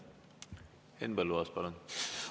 Henn Põlluaas, palun!